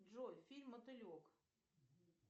джой фильм мотылек